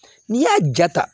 N'i y'a ja ta